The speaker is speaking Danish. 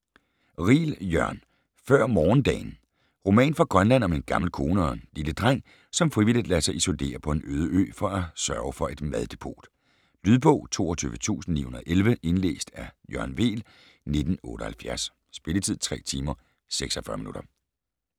Riel, Jørn: Før morgendagen Roman fra Grønland om en gammel kone og en lile dreng, som frivilligt lader sig isolere på en øde ø for at sørge for et maddepot. Lydbog 22911 Indlæst af Jørgen Weel, 1978. Spilletid: 3 timer, 46 minutter.